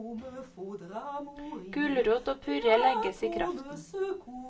Gulrot og purre legges i kraften.